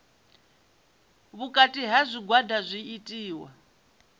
vhukati ha zwigwada zwi itiwa